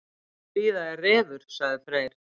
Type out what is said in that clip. Fríða er refur, sagði Freyr.